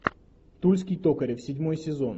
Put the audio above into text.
тульский токарев седьмой сезон